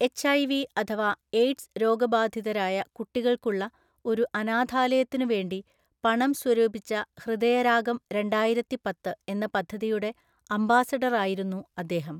HIV അഥവാ AIDS രോഗബാധിതരായ കുട്ടികൾക്കുള്ള ഒരു അനാഥാലയത്തിനുവേണ്ടി പണം സ്വരൂപിച്ച ഹൃദയരാഗം രണ്ടായിരത്തിപ്പത്ത് എന്ന പദ്ധതിയുടെ അംബാസഡറായിരുന്നു അദ്ദേഹം.